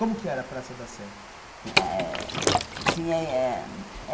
Como que era a Praça da Sé? Eh tinha eh eh